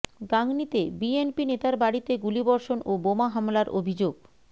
গাংনীতে বিএনপি নেতার বাড়িতে গুলিবর্ষণ ও বোমা হামলার অভিযোগ